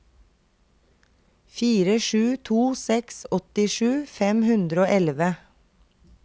fire sju to seks åttisju fem hundre og elleve